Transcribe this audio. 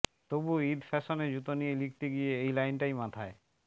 তবু ঈদ ফ্যাশনে জুতা নিয়ে লিখতে গিয়ে এই লাইনটাই মাথায়